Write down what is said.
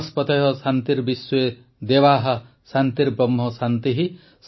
ବନସ୍ପତୟଃ ଶାନ୍ତିର୍ବିଶ୍ୱେ ଦେବାଃ ଶାନ୍ତିର୍ବ୍ରହ୍ମ ଶାନ୍ତିଃ